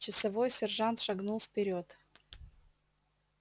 часовой сержант шагнул вперёд